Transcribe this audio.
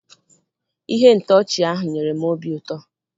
Ihe ntọchi ahụ nyere m obi ụtọ.